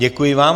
Děkuji vám.